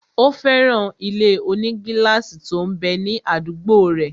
Ó fẹ́ràn ilé-onígílásì tó m bẹ ní àdúgbò rẹ̀